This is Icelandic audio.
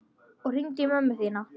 Og hringdu í mömmu þína.